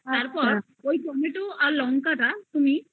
তারপর ওই tomato আর লঙ্কা